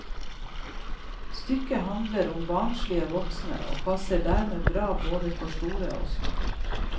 Stykket handler om barnslige voksne og passer dermed bra både for store og små.